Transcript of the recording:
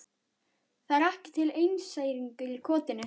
Það er ekki til einseyringur í kotinu.